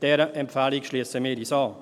Dieser Empfehlung schliessen wir uns an.